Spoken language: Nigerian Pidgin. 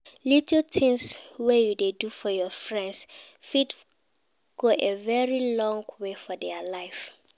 Little things wey you do for your friends fit go a very long way for their life